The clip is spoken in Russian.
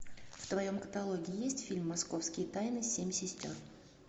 в твоем каталоге есть фильм московские тайны семь сестер